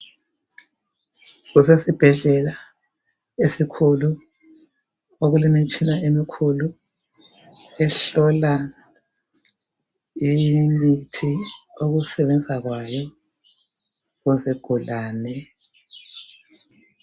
Kusesibhedlela esikhulu okulemitshina emikhulu ehlola imithi ukusebenza kwayo kuzigulane.